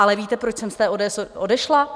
Ale víte, proč jsem z té ODS odešla?